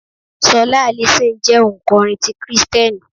Ṣọlá Allison jẹ́ ò ǹ kọrin ti Kristẹni.